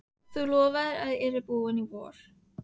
Þú lofaðir að ég yrði búinn í vor!